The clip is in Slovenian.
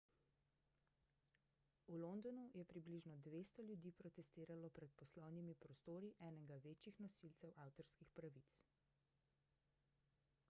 v londonu je približno 200 ljudi protestiralo pred poslovnimi prostori enega večjih nosilcev avtorskih pravic